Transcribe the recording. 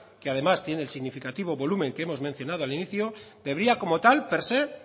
que además tiene el significativo volumen que hemos mencionado al inicio debería como tal per se